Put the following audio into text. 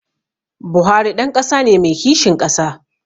Buhari ɗan ƙasa ne mai kishin ƙasa